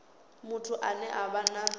muthu ane a vha na